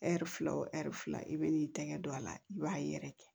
Ɛri fila o ɛri fila i bɛn'i tɛgɛ don a la i b'a yɛrɛ kɛ